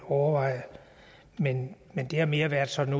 overveje men det har mere sådan